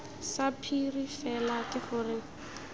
sa phiri fela ke gore